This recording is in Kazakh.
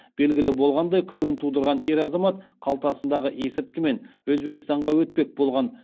белгілі болғандай күмән тудырған ер азамат қалтасындағы есірткімен өзбекстанға өтпек болған